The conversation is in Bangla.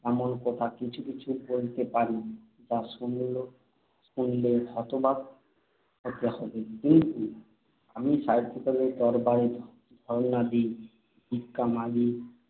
এমন কথা কিছু কিছু বলতে পারি যা শুনলে শুনলে হতবাক হতে হবে। কিন্তু আমিও সাহিত্যিকের দরবারে ধরনা দিই, ভিক্ষা মাগি।